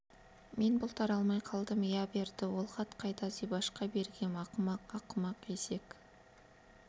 мен бұлтара алмай қалдым иә берді ол хат қайда зибашқа бергем ақымақ ақымақ есек